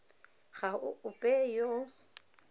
ga go ope yo o